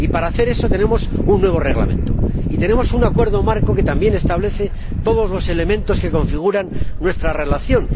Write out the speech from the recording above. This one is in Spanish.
Para hacer eso tenemos un nuevo Reglamento y tenemos un Acuerdo marco que también establece todos los elementos que configuran nuestra relación.